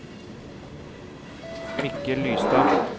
Mikkel Lystad